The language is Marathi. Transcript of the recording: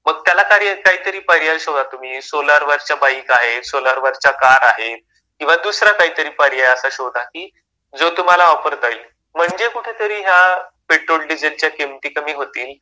मग त्याला काहीतरी पर्याय शोधा तुम्ही सोलर वरच्या बाईक आहे, सोलर वरच्या कार आहेत किंवा दुसरा काहीतरी पर्याय असा शोधा जो तुम्हाला वापरता येईल. म्हणजे कुठेतरी या पेट्रोल डिझेलच्या किमती कमी होतील.